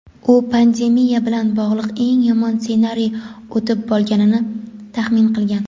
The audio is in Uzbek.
U pandemiya bilan bog‘liq eng yomon ssenariy o‘tib bo‘lganini taxmin qilgan.